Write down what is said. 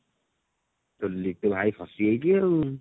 ତୋ ଲିଟୁ ଭାଇ ଫସି ଯାଇଛି ଆଉ